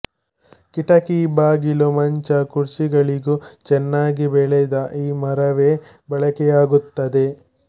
ಕಿಟಕಿ ಬಾಗಿಲು ಮಂಚ ಕುರ್ಚಿಗಳಿಗೂ ಚೆನ್ನಾಗಿ ಬೆಳೆದ ಈ ಮರವೇ ಬಳಕೆಯಾಗುತ್ತದೆ